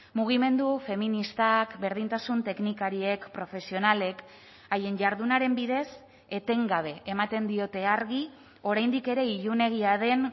mugimendu feministak berdintasun teknikariek profesionalek haien jardunaren bidez etengabe ematen diote argi oraindik ere ilunegia den